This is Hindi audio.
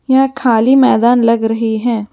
यह खाली मैदान लग रही है।